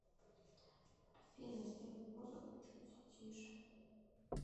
афина сделай музыку чуть тише